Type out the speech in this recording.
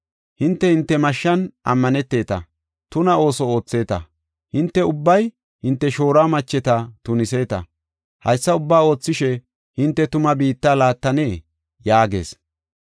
Hinte hinte mashshan ammaneteta; tuna ooso ootheeta; hinte ubbay hinte shooruwa macheta tuniseeta. Haysa ubbaa oothishe hinte tuma biitta laattanee?” yaagees.